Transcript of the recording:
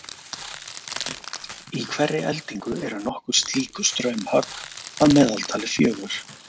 Í hverri eldingu eru nokkur slík straumhögg, að meðaltali fjögur.